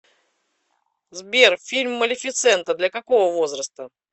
сбер фильм малефисента для какого возраста